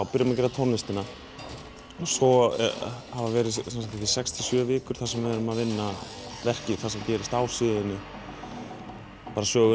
byrjum að gera tónlistina svo hafa verið sex til sjö vikur þar sem við höfum verið að vinna verkið sem gerist á sviðinu söguna